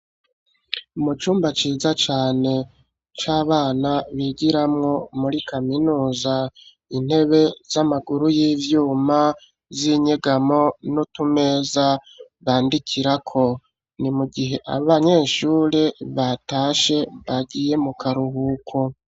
Mu cumba ciza cane c'abana bigiramwo muri kaminuza, intebe z'amaguru y'ivyuma z'inyegamo, n'utumeza bandikirako, ni mu gihe abanyeshure batashe bagiye mu karuhuko.